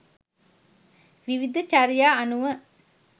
විවිධ චර්යා අනුව